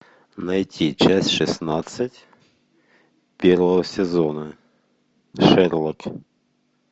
найти часть шестнадцать первого сезона шерлок